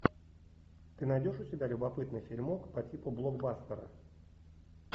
ты найдешь у себя любопытный фильмок по типу блокбастера